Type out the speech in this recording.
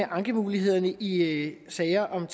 ankemulighederne i sager om